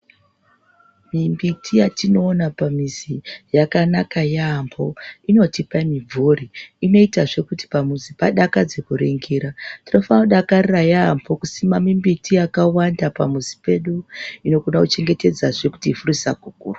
Mumbiti yatinoona pamuzi yakanaka yaambo inotipa mimvuri inoitazve kuti pamuzi panakidze kuningira tinofana kudakarira yaambo kusima mumbiti yakawanda pamuzi pedu nekuda kuchengetedzazve kuti ivhu risakukurwa.